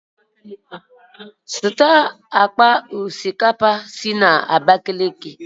Zụta akpa osikapa si Abakiliki!